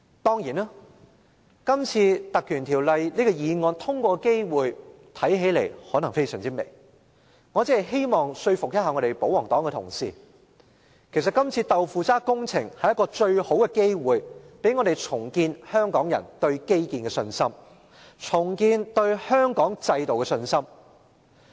當然，這次根據《條例》動議的議案通過的機會看來甚微，我只是希望說服保皇黨同事，其實這次"豆腐渣"工程是最好的機會，讓我們重建香港人對基建和香港制度的信心。